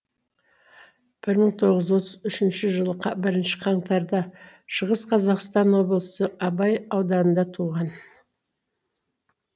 бір мың тоғыз жүз отыз үшінші жылы қа бірінші қаңтарда шығыс қазақстан облысы абай ауданында туған